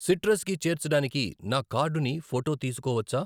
Citrus కి చేర్చడానికి నా కార్డుని ఫోటో తీసుకోవచ్చా?